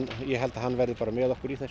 ég held að hann verði bara með okkur í þessu